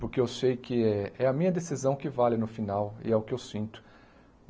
Porque eu sei que é é a minha decisão que vale no final e é o que eu sinto.